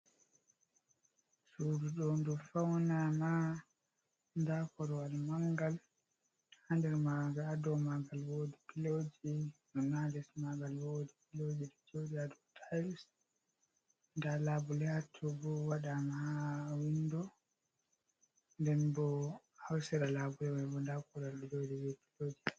Sududo ndu fauna ma nda korwal mangal hado magal ado magal wodi piloji ɗon haa les magal wodi piloji do jod ado tils da labu le atubu wadama ha windo nden bo hausira labuewbo dakoral o jodi bi piloji.